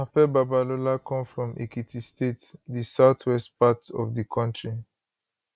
afe babalola come from ekiti state di south west part of di kontri